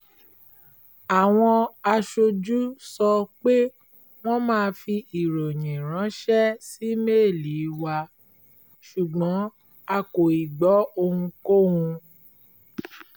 àwọn aṣojú sọ pé wọ́n máa fi ìròyìn ránṣẹ́ sí méèlì wa ṣùgbọ́n a kò ì gbọ́ ohunkóhun